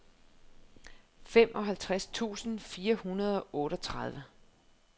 femoghalvtreds tusind fire hundrede og otteogtredive